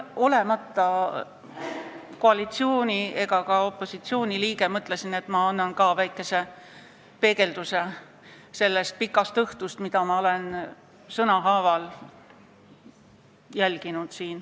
Olemata koalitsiooni ega opositsiooni liige, mõtlesin, et räägin ka sellest pikast õhtust, mida ma olen siin sõnahaaval jälginud.